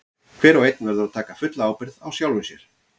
Hver og einn verður að taka fulla ábyrgð á sjálfum sér.